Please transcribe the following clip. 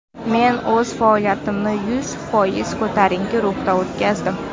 Men o‘z faoliyatimni yuz foiz ko‘tarinki ruhda o‘tkazdim.